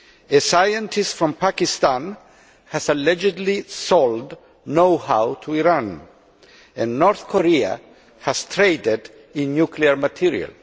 A scientist from Pakistan has allegedly sold know how to Iran, and North Korea has traded in nuclear material.